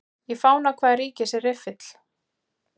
Í fána hvaða ríkis er riffill?